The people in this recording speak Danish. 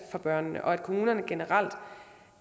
for børnene og at kommunerne generelt